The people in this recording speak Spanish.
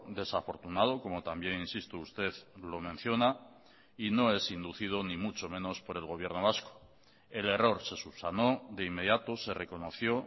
desafortunado como también insisto usted lo menciona y no es inducido ni mucho menos por el gobierno vasco el error se subsanó de inmediato se reconoció